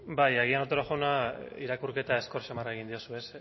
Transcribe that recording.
bai agian otero jauna irakurketa azkar samarra egin diozu